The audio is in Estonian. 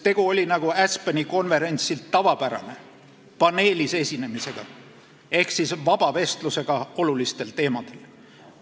Tegu oli, nagu Aspeni konverentsil tavapärane, paneelis esinemisega ehk vaba vestlusega olulistel teemadel.